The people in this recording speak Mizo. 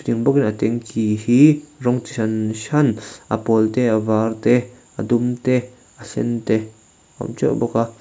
a tanky hi rawng chi hran hran a pawl te a var te a dum te a sen te a awmteuh bawk a.